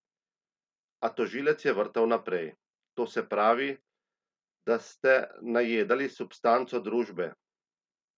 A tožilec je vrtal naprej: "To se pravi, da ste najedali substanco družbe.